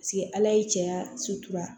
Paseke ala ye cɛya